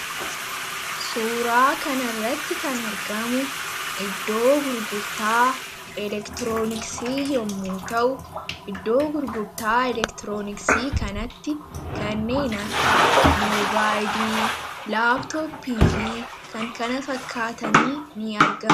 suuraa kanirratti kan argamu iddoo gurgurtaa elektirooniksii yommuu ta'u iddoo gurgurtaa elektirooniksii kanatti kanneen akka mobaaidii laaptooppii fi kan kana fakkaatanii ni argamu